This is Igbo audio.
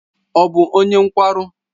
Ọ bụ onye nkwarụ?